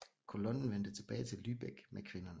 Kolonnen vendte tilbage til Lübeck med kvinderne